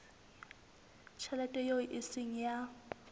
tjhelete eo e seng ya